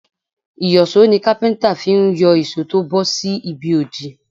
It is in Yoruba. Ìyọ̀ṣó ni Kápẹ́ńtà fi ń yọ ìṣó tó bọ́ sí ibi òdì.